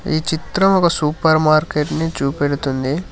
ఈ చిత్రం ఒక సూపర్ మార్కెట్ ని చూపెడుతుంది.